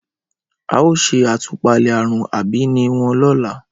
ao se atupale arun abiini won lola.